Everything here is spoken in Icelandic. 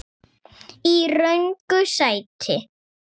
Í röngu sæti.